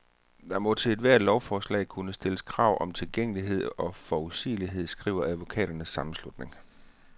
Der må til ethvert lovforslag kunne stilles krav om tilgængelighed og forudsigelighed, skriver advokaternes sammenslutning.